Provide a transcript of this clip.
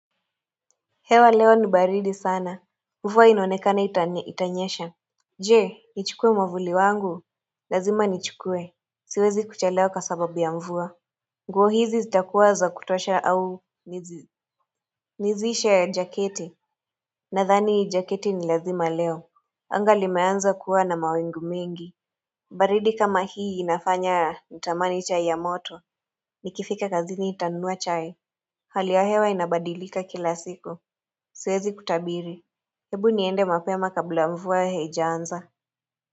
Hewa leo ni baridi sana mvua inonekana itanyesha Je nichukue mwavuli wangu Lazima nichukue Siwezi kuchelewa kwa sababu ya mvua nguo hizi zitakuwa za kutosha au nizi Nizishe ya jaketi Nadhani hii jaketi ni lazima leo anga limeanza kuwa na mawingu mingi baridi kama hii inafanya nitamani chai ya moto Nikifika kazini nitanunua chai Hali ya hewa inabadilika kila siku Siwezi kutabiri hebu niende mapema kabla mvua haijaanza.